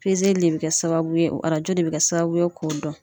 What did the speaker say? de be kɛ sababu ye, arajo de be kɛ sababu ye k'o dɔn.